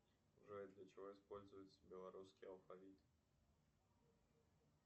джой для чего используется белорусский алфавит